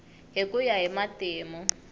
hi ku ya hi matimu